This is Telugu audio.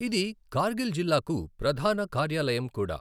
ఇది కార్గిల్ జిల్లాకు ప్రధాన కార్యాలయం కూడా.